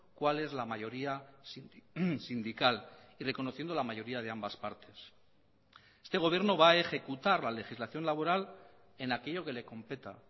cuál es la mayoría sindical y reconociendo la mayoría de ambas partes este gobierno va a ejecutar la legislación laboral en aquello que le competa